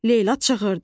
Leyla çığırdı.